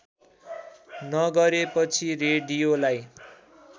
नगरेपछि रेडियोलाई